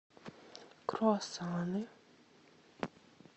круассаны